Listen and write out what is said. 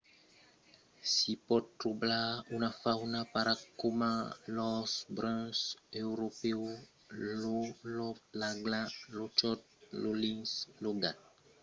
s'i pòt trobar una fauna rara coma l'ors brun europèu lo lop l'agla lo chòt lo linx lo gat fèr e lo pavon salvatge e tanben mantuna autra espècia mai comuna